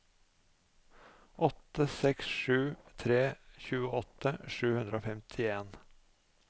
åtte seks sju tre tjueåtte sju hundre og femtien